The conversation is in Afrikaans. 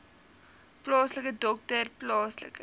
plaaslike dokter plaaslike